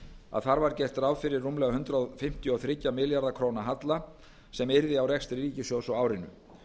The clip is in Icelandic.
að þar var gert ráð fyrir rúmlega hundrað fimmtíu og þrjú ja milljarða króna halla sem yrði á rekstri ríkissjóðs á árinu